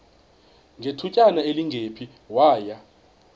ngethutyana elingephi waya